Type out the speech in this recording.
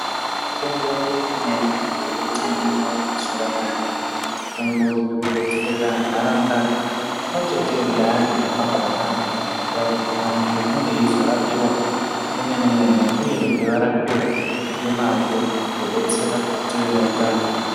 Mitombo imweni inoda kutengwa mazuvanaya, mitombo irikudetsera ntaraunda pamwechete ngeantu akhona, kuita kuti antu ange eizorapiwa zvemene-mene uyezve ngemazvozvizobetsera kuti tive netano.